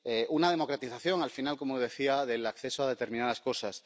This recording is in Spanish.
Una democratización, al final, como decía, del acceso a determinadas cosas.